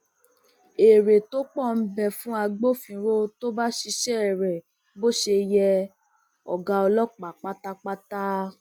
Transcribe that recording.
èrè tó pọ ń bẹ fún agbófinró tó bá um ṣiṣẹ rẹ bó ṣe um yẹ ọgá ọlọpàá pátápátá